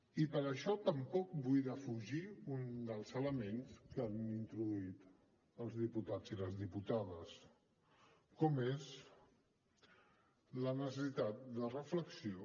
i per això tampoc vull defugir un dels elements que han introduït els diputats i les diputades com és la necessitat de reflexió